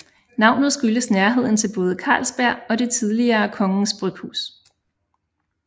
Navnet skyldes nærheden til både Carlsberg og det tidligere Kongens Bryghus